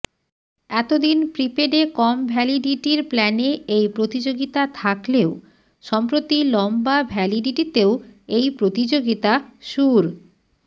এতদিন প্রিপেডে কম ভ্যালিডিটির প্ল্যানেএই প্রতিযোগিতা থাকলেও সম্প্রতি লম্বা ভ্যালিডিটিতেও এই প্রতিযোগিতা শুর